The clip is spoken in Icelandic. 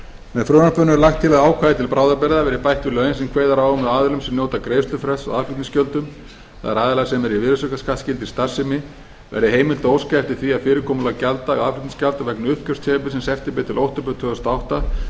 með frumvarpinu er lagt til að ákvæði til bráðabirgða verði bætt við lögin sem kveður á um að aðilum sem njóta greiðslufrests á aðflutningsgjöldum það er aðilum sem eru í virðisaukaskattsskyldri starfsemi verði heimilt að óska eftir því að fyrirkomulagi gjalddaga aðflutningsgjalda vegna uppgjörstímabilsins september til október tvö þúsund og átta